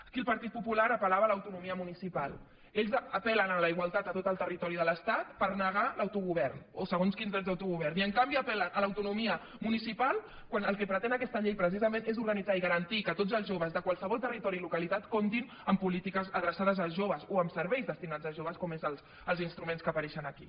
aquí el partit popular apel·lava a l’autonomia municipal ells apel·len a la igualtat a tot el territori de l’estat per negar l’autogovern o segons quins drets d’autogovern i en canvi apel·len a l’autonomia municipal quan el que pretén aquesta llei precisament és organitzar i garantir que tots els joves de qualsevol territori i localitat comptin amb polítiques adreçades als joves o amb serveis destinats als joves com són els instruments que apareixen aquí